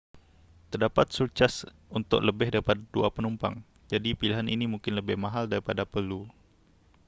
terdapat surcaj untuk lebih daripada 2 penumpang jadi pilihan ini mungkin lebih mahal daripada perlu